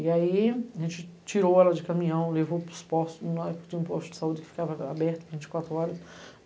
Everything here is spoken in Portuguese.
E aí, a gente tirou ela de caminhão, levou para os postos, tinha um posto de saúde que ficava aberto vinte e quatro horas.